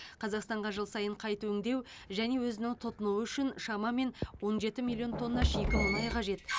қазақстанға жыл сайын қайта өңдеу және өзінің тұтынуы үшін шамамен он жеті миллион тонна шикі мұнай қажет